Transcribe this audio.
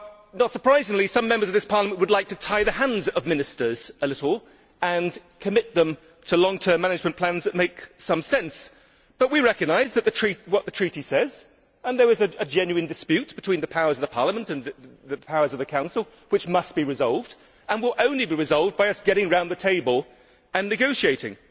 Not surprisingly, some Members of this Parliament would like to tie the hands of Ministers a little and commit them to long term management plans that make some sense, but we recognise what the Treaty says, and there was a genuine dispute between the powers of Parliament and the powers of the Council which must be resolved, and will only be resolved by us getting round the table and negotiating.